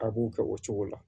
A b'u kɛ o cogo la